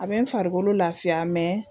A bɛ n farikolo lafiya mɛ